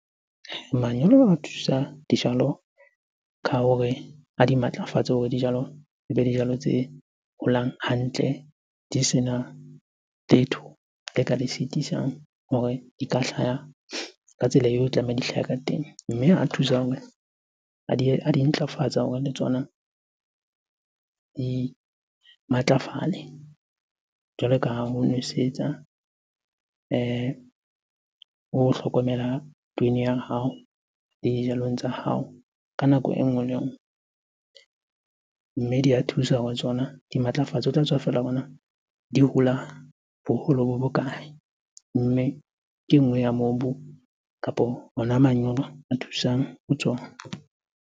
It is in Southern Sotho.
Manyolo a thusa dijalo ka hore a di matlafatse hore dijalo dijalo tse holang hantle, di sena letho le ka le sitisang hore di ka hlaya ka tsela eo e tlamehang di hlahe ka teng. Mme a thusa hore, a di ntlafatsa hore le tsona di matlafale. Jwalo ka ha ho nwesetsa o hlokomela ya hao le dijalong tsa hao ka nako e nngwe le e nngwe. Mme di a thusa ho tsona di matlafatse, ho tla tswa feela hore na di hola boholo bo bokae? Mme ke e nngwe ya mobu kapo ona manyolo a thusang ho tsona.